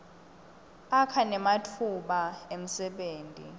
akha nematfuba emsebenti